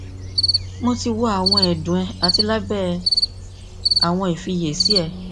mo ti wo awọn ẹdun rẹ ati labẹ awọn ifiyesi rẹ